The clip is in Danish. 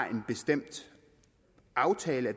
af en bestemt aftale